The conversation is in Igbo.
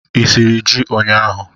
Ị siri ji ụnyaahụ?